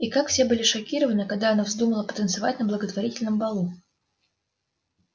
и как все были шокированы когда она вздумала потанцевать на благотворительном балу